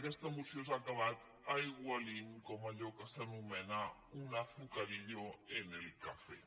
aquesta moció s’ha acabat aigualint com allò que s’anomena un azucarillo en el café